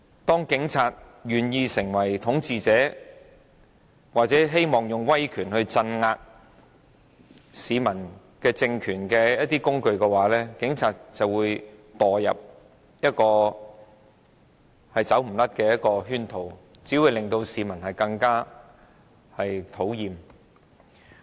當警察願意成為統治者或成為一個試圖以威權鎮壓市民的政權的工具，警察便會墮入一個無法擺脫的圈套，只會更惹市民討厭。